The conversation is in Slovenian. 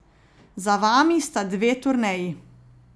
Za vami sta dve turneji.